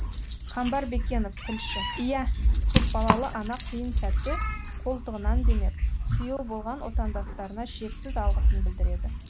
қамбар бекенов тілші иә көпбалалы ана қиын сәтте қолтығынан демеп сүйеу болған отандастарына шексіз алғысын білдіреді